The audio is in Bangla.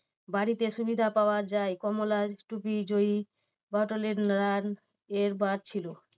বাড়িতে সুবিধা পাওয়া যায় কমলা টুপি জয়ী বাটলার run এর বার ছিল।